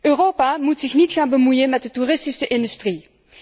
Europa moet zich niet gaan bemoeien met de toeristische industrie.